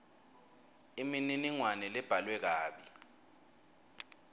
imininingwane lebhalwe kabi